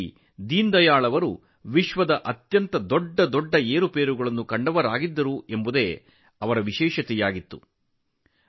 ದೀನದಯಾಳ್ ಅವರ ಆಲೋಚನೆಗಳ ದೊಡ್ಡ ವೈಶಿಷ್ಟ್ಯವೆಂದರೆ ಅವರ ತಮ್ಮ ಜೀವಿತಾವಧಿಯಲ್ಲಿ ಪ್ರಪಂಚದ ದೊಡ್ಡ ಕ್ರಾಂತಿಗಳನ್ನು ಕಂಡಿದ್ದಾರೆ